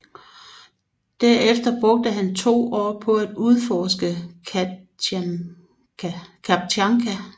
Derefter brugte han to år på at udforske Kamtjatka